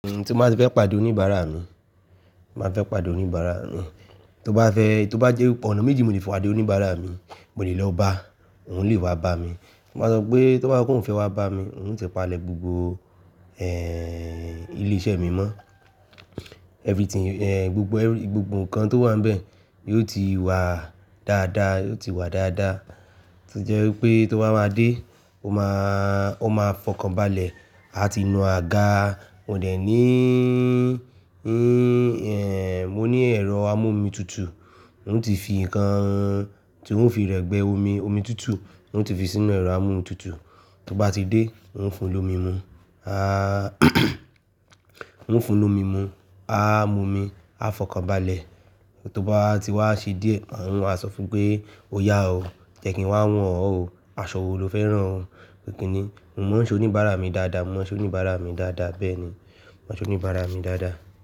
Tí mo báti fẹ́ pàdé oníbàárà mi, màá fẹ́ pàdé oníbàárà mi, tó bá fẹ́, tó bá jẹ́ ipe, oná méjì mo lè fọ̀ àdé oníbàárà mi, mo le lọba òun lè wá bá mi. Mo máa sọ pé tó bá sọ pé òun fẹ́ wá bá mi, ń ó ti palẹ̀ gbogbo ilé iṣẹ́ mi mọ́. Everything, gbogbo gbogbo nǹkan tó wà níbẹ̀ yiò ti wà dáadáa, yiò ti wà dáadáa. To jẹ́ wípé tó bá máa dé, ó máa, ó máa fọkàn balẹ̀, a ti nu àga, mo dẹ̀ ní, ní, mo ní ẹ̀rọ amọ́omí tutù, ń ó ti fi nǹkan tí ń ó fi rẹ́gbẹ́ omi, omi tutù, ń ó ti fi sínú ẹ̀rọ amọ́omí tutù. Tó bá ti dé ń ó fún lo mi mu. A ń ó fún lo mi mu, a mọmi, a fọkàn balẹ̀. Tó báwa ti wá ṣe díẹ̀, n o wa sọ fún pé, "o yá o, jẹ́ kí n wá wọn ọ́ o, aṣọ wo lo fẹ́ rán ọ?" Ikìní, mo mọ̀ ọ́n ṣe oníbàárà mi dáadáa, mo mọ̀ ọ́n ṣe oníbàárà mi dáadáa, bẹ́ẹ̀ ni, mo mọ̀ ọ́n ṣe oníbàárà mi dáadáa.